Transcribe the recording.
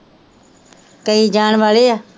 ਕਈ ਜਾਣ ਵਾਲੇ ਹੈ